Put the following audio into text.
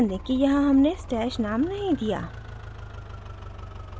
ध्यान दें कि यहाँ हमने stash name नहीं दिया